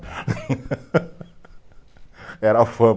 Era a fama